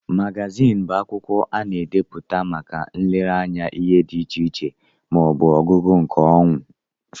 Magazin bụ akwụkwọ a na-ebipụta màkà nlere anya ihe dị iche iche ma ọbu ọgụgụ nke onwé.